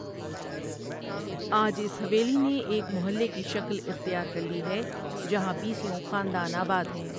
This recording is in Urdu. آج اس حویلی نے ایک محلے کی شکل اختیار کر لی ہے جہاں بیسیوں خاندان آباد ہیں ۔